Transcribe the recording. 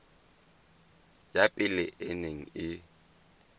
ya pele e neng e